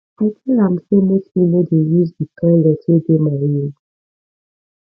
i tell am sey make he no dey use di toilet wey dey my room